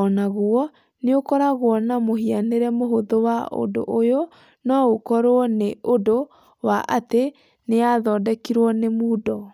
o naguo nĩ ũkoragwo na mũhianĩre mũhũthũ na ũndũ ũyũ no ũkorũo nĩ ũndũ wa atĩ niyathondekirwo na Moodle.